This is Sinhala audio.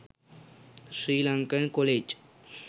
sri lankan college